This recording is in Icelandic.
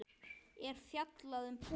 er fjallað um púður.